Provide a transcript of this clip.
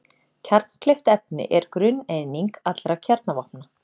Kjarnkleyft efni er grunneining allra kjarnavopna.